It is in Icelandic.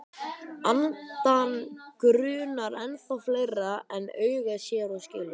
Andann grunar ennþá fleira en augað sér og skilur.